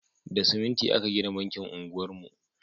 Da siminti aka gina bankin unguwar mu